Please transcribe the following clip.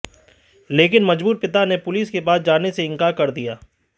लेकिन मजबूर पिता ने पुलिस के पास जाने से इंकार कर दिया